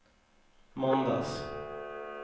måndags